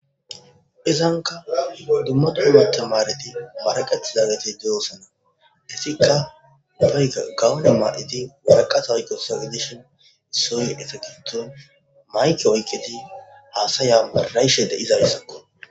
Izanka dumma dumma tamareti maraqetidageti de'osona hesika kawo tamareti waraqata oykidageti dishin issoy eta gidope mayke oykidi hasaya mara'ishe dizaysako